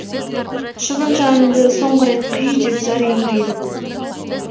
шыбын жанымды соңғы рет қи деп зар еңірейді бұл